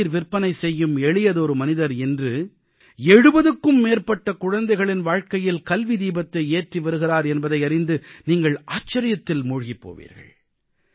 தேநீர் விற்பனை செய்யும் எளியதொரு மனிதர் இன்று 70க்கும் மேற்பட்ட குழந்தைகளின் வாழ்க்கையில் கல்வி தீபத்தை ஏற்றி வருகிறார் என்பதை அறிந்து நீங்கள் ஆச்சரியத்தில் மூழ்கிப் போவீர்கள்